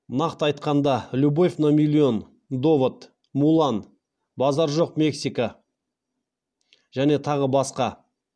нақты айтқанда любовь на миллион довод мулан базар жоқ мексика және тағы басқа